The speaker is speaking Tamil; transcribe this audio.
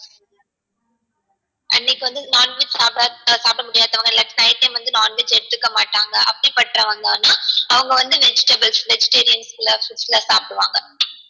அன்னைக்கு வந்து non veg சாப்ட சாப்ட முடியாதவங்க இல்ல night time வந்து non veg எடுத்துக்க மாட்டாங்க அப்டிபட்டவங்க வந்தாங்கனா அவங்க வந்து vegetables vegeterian ல foods ல சாப்டுவாங்க